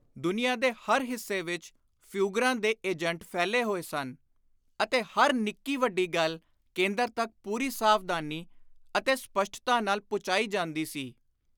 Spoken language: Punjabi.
ਦੁਨੀਆਂ ਦੇ ਹਰ ਹਿੱਸੇ ਵਿਚ ਫਿਊਗਰਾਂ ਦੇ ਏਜੰਟ ਫੈਲੋ ਹੋਏ ਸਨ ਅਤੇ ਹਰ ਨਿੱਕੀ ਵੱਡੀ ਗੱਲ ਕੇਂਦਰ ਤਕ ਪੁਰੀ ਸਾਵਧਾਨੀ ਅਤੇ ਸਪੱਸ਼ਟਤਾ ਨਾਲ ਪੁਚਾਈ ਜਾਂਦੀ ਸੀ।